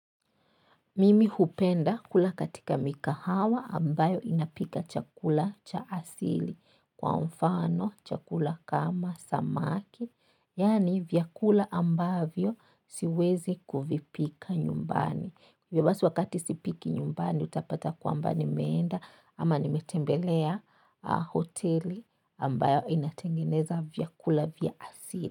Mimi hupenda kula katika mikahawa ambayo inapika chakula cha asili. Kwa mfano chakula kama samaki, yaani vyakula ambavyo siwezi kuvipika nyumbani. Hivyo basi wakati sipiki nyumbani utapata kwamba nimeenda ama nimetembelea hoteli ambayo inatengeneza vyakula vya asili.